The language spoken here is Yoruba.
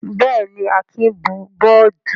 Bẹ́ẹ̀ jí, Akin bù bọ́ọ́dù.